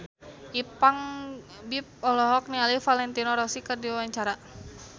Ipank BIP olohok ningali Valentino Rossi keur diwawancara